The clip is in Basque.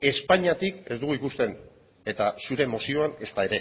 espainiatik ez dugu ikusten eta zure mozioan ezta